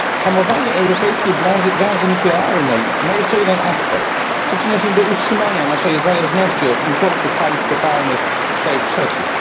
Hamowanie europejskiej branży nuklearnej ma jeszcze jeden aspekt przyczynia się do utrzymania naszej zależności od importu paliw kopalnych z krajów trzecich.